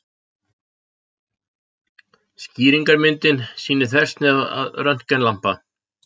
Skýringarmyndin sýnir þversnið af röntgenlampa.